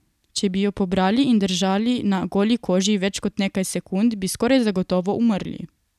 Če bi jo pobrali in držali na goli koži več kot nekaj sekund, bi skoraj zagotovo umrli.